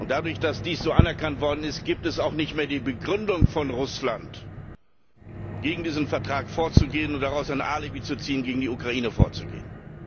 Dadurch, dass dies so anerkannt worden ist, gibt es auch nicht mehr die Begründung von Russland, gegen diesen Vertrag vorzugehen und daraus ein Alibi zu ziehen, gegen die Ukraine vorzugehen.